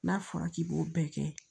N'a fɔra k'i b'o bɛɛ kɛ